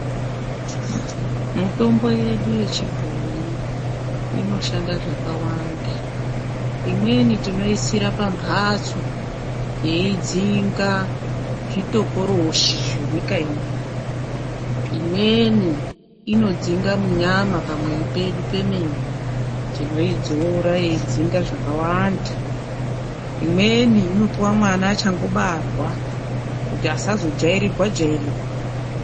Mitombo yedu yechibhoyi inoshanda zvakawanda imweni tinoitsira pamhatso yeidzinga zvitokoroshi zvenyika ino, imweni inodzinga munyama pamwiri pedu pemene, tinoidzora yedzinge zvakawanda, imweni inopiwe mwana achangobarwa kuti asazojairirirwa-jairirwa.